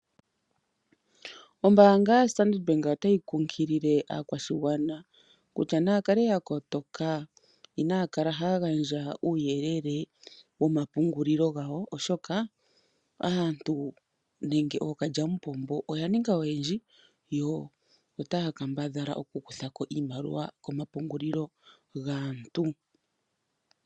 Ombanga yaStandard Bank otayi kunkilile aakwashigwana kutya naya kale ya kotoka, inaa kala haya gandja uuyelele womapungulilo gawo, oshoka aantu nenge ookalyamupombo oya ninga oyendji yo ota ya kambadhala okukutha ko iimaliwa komapungulilo gaantu.